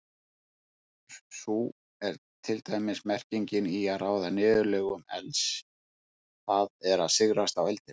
Sú er til dæmis merkingin í að ráða niðurlögum elds, það er sigrast á eldinum.